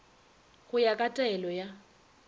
go ya ka taelo ya